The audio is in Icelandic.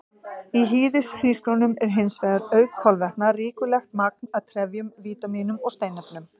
Í hýðishrísgrjónum er hins vegar, auk kolvetna, ríkulegt magn af trefjum, vítamínum og steinefnum.